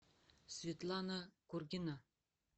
светлана кургина